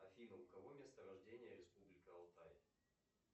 афина у кого место рождения республика алтай